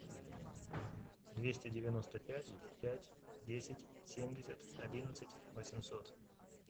двести девяносто пять пять десять семьдесят одиннадцать восемьсот